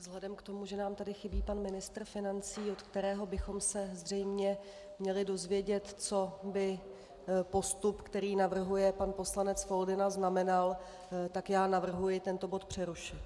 Vzhledem k tomu, že nám tady chybí pan ministr financí, od kterého bychom se zřejmě měli dozvědět, co by postup, který navrhuje pan poslanec Foldyna, znamenal, tak já navrhuji tento bod přerušit.